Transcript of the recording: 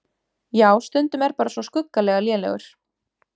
Já stundum er bara svo skuggalega lélegur!